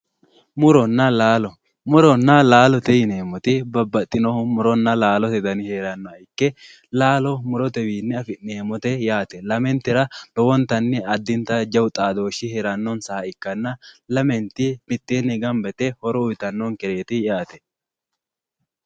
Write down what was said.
muronna laalo muronna laalo yineemmoti babbaxinohu laalote dani heerannoha ikke laalo murotewiinni afi'neemmote yaate lamentera lowontanni addinta jaawu xaadooshsi heerannonsaha ikkanna lamenti itteenni gamba yite horo uyitannonkereeti yaate